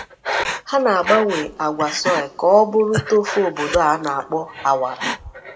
Ha na-agbanwe agwa soy ka-ọ bụrụ tofu obodo a na-akpọ awara.